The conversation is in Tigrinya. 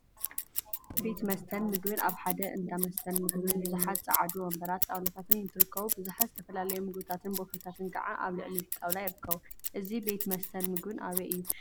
ቤት መስተን ምግቢን አብ ሓደ እንዳ መስትን ምግቢን ብዙሓት ፀዓዱ ወንበራትን ጣውላታትን እንትርከቡ፤ ቡዙሓት ዝተፈላለዩ ምግቢታትን ቦፌታትን ከዓ አብ ልዕሊ እቲ ጣውላ ይርከቡ፡፡ እዚ ቤት መስተን ምግቢን አበይ እዩ?